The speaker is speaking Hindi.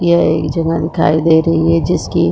यह एक जगह दिखाई दे रही है जिसकी --